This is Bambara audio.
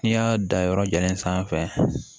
N'i y'a dan yɔrɔ jalen sanfɛ